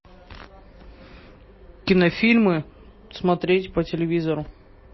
кинофильмы смотреть по телевизору